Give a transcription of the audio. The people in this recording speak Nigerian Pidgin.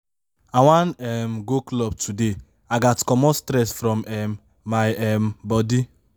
i wan um go club today i gats comot stress from um my um bodi.